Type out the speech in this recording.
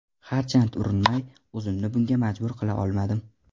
Harchand urinmay, o‘zimni bunga majbur qila olmadim.